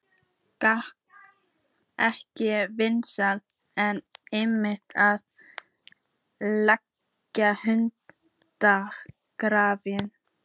Gat ekki verið að einmitt þarna lægi hundurinn grafinn?